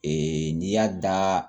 n'i y'a da